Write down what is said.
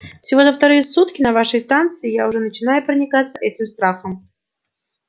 всего за вторые сутки на вашей станции я уже начинаю проникаться этим страхом